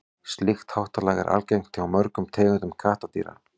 slíkt háttalag er algengt hjá mörgum tegundum kattardýra